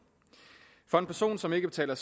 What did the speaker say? for en person som ikke betaler